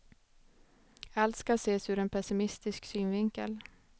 Allt skall ses ur en pessimistisk synvinkel.